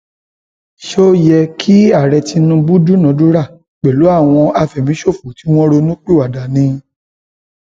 ó yẹ kí ààrẹ tinubu dúnàádúrà pẹlú àwọn àfẹmíṣòfò tí wọn ronúpìwàdà ni